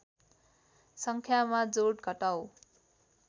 सङ्ख्यामा जोड घटाउ